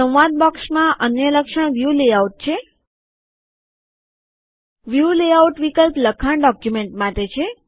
સંવાદ બોક્સમાં અન્ય લક્ષણ વ્યુ લેઆઉટ છે વ્યુ લેઆઉટ વિકલ્પ લખાણ ડોક્યુમેન્ટ માટે છે